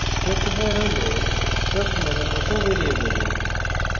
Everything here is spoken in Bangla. struct var হল struct name var মত ভ্যারিয়েবল